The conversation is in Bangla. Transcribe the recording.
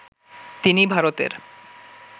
তিনি ভারতের